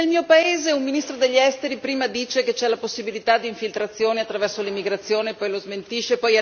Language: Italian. Perché, ad esempio, nel mio paese un ministro degli Esteri prima dice che c'è la possibilità di infiltrazioni attraverso l'immigrazione, poi lo smentisce